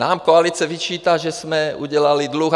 Nám koalice vyčítá, že jsme udělali dluh.